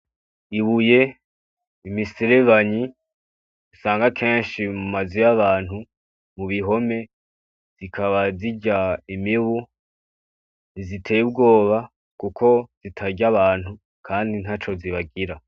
Ibuye, imiserebanyi usanga kenshi mumazu y’abantu , mu bihome, zikaba zirya imibu , ntiziteye ubwoba Kuko zitarya abantu kandi ntaco zibagira.